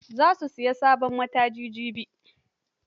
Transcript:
Za ta sayi sabon mataji jibi.